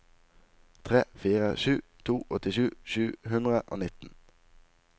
tre fire sju to åttisju sju hundre og nitten